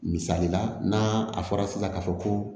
Misali la n'a a fɔra sisan k'a fɔ ko